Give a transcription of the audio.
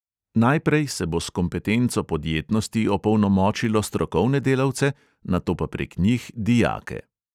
Najprej se bo s kompetenco podjetnosti opolnomočilo strokovne delavce, nato pa prek njih dijake.